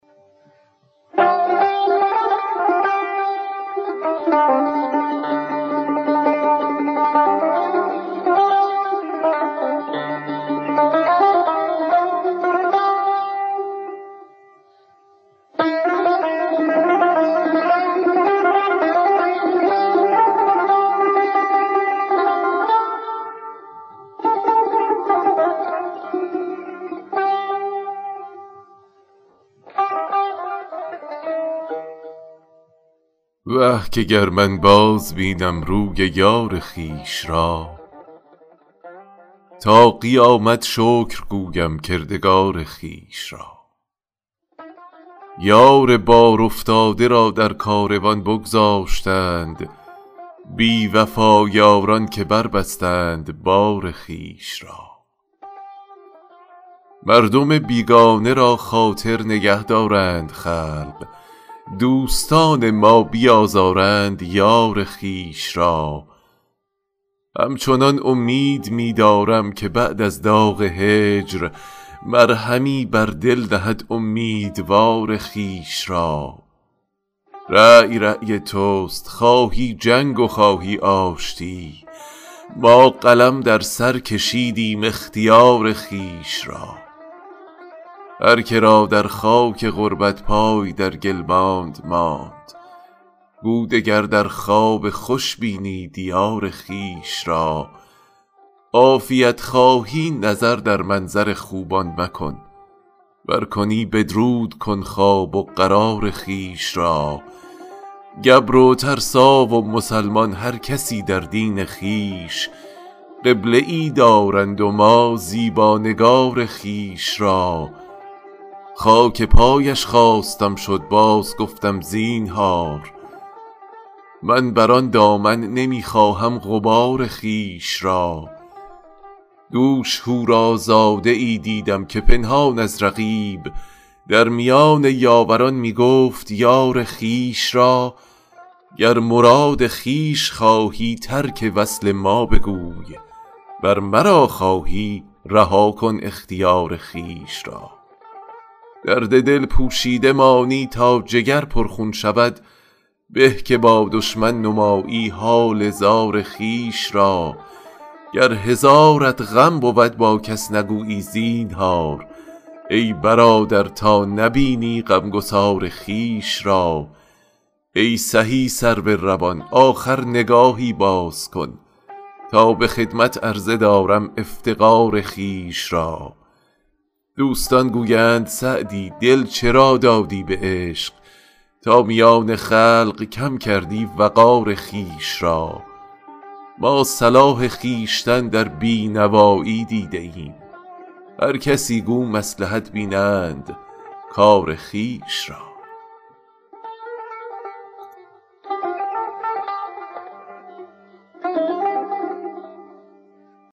وه که گر من بازبینم روی یار خویش را تا قیامت شکر گویم کردگار خویش را یار بارافتاده را در کاروان بگذاشتند بی وفا یاران که بربستند بار خویش را مردم بیگانه را خاطر نگه دارند خلق دوستان ما بیازردند یار خویش را همچنان امید می دارم که بعد از داغ هجر مرهمی بر دل نهد امیدوار خویش را رای رای توست خواهی جنگ و خواهی آشتی ما قلم در سر کشیدیم اختیار خویش را هر که را در خاک غربت پای در گل ماند ماند گو دگر در خواب خوش بینی دیار خویش را عافیت خواهی نظر در منظر خوبان مکن ور کنی بدرود کن خواب و قرار خویش را گبر و ترسا و مسلمان هر کسی در دین خویش قبله ای دارند و ما زیبا نگار خویش را خاک پایش خواستم شد بازگفتم زینهار من بر آن دامن نمی خواهم غبار خویش را دوش حورازاده ای دیدم که پنهان از رقیب در میان یاوران می گفت یار خویش را گر مراد خویش خواهی ترک وصل ما بگوی ور مرا خواهی رها کن اختیار خویش را درد دل پوشیده مانی تا جگر پرخون شود به که با دشمن نمایی حال زار خویش را گر هزارت غم بود با کس نگویی زینهار ای برادر تا نبینی غمگسار خویش را ای سهی سرو روان آخر نگاهی باز کن تا به خدمت عرضه دارم افتقار خویش را دوستان گویند سعدی دل چرا دادی به عشق تا میان خلق کم کردی وقار خویش را ما صلاح خویشتن در بی نوایی دیده ایم هر کسی گو مصلحت بینند کار خویش را